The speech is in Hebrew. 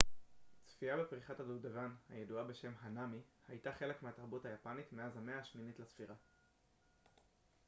צפייה בפריחת הדובדבן הידועה בשם הנאמי הייתה חלק מהתרבות היפנית מאז המאה השמינית לספירה